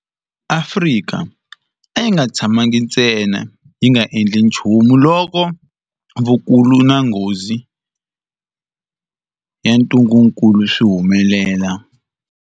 Afrika a yi nga tshamangi ntsena yi nga endli nchumu loko vukulu na nghozi ya ntungukulu swi humelela.